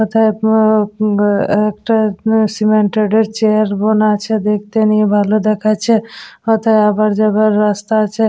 অতএব ও ইম আ একটা উম সিমেন্টরের -এর চেয়ার বোনা আছে দেখতে নিয় ভালো দেখাচ্ছে ওটা আবার যাবার রাস্তা আছে--